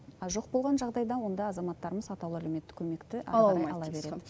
ал жоқ болған жағдайда онда азаматтарымыз атаулы әлеуметтік көмекті ары қарай ала береді